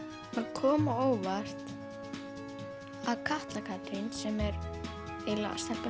kom á óvart að Katla Katrín sem er stelpan